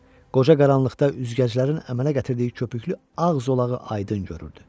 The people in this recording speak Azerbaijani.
Qoca qaranlıqda üzgəclərin əmələ gətirdiyi köpüklü ağ zolağı aydın görürdü.